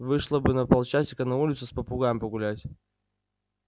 вышла бы на полчасика на улицу с попугаем погулять